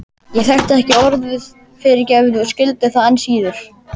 Ég þekkti ekki orðið fyrirgefðu og skildi það enn síður.